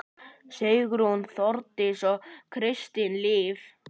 Sigrún, Þórdís og Kristín Líf.